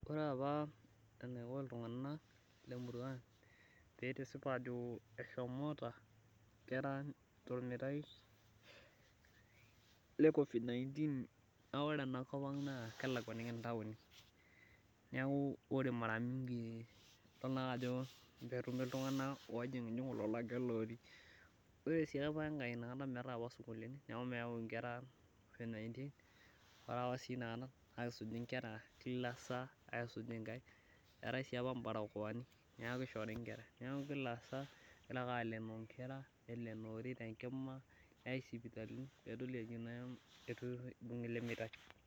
ore apa enaiko iltunganak lemurua ang pee itisip ajo eshomoota nkera tormetai le covid-19naa ore enakopang naa kelakuaniki inatoni neeku ore maramingi naa idol naake ajo pee etumi iltunganak ojingujingu, ore sii enkae meetae apa inakata isukulini neeku naa kesuji inkera kila saa, aisuj inkaik neloonori neyai sipitali ainguraa pee edoli enaa kibunga elemeitai.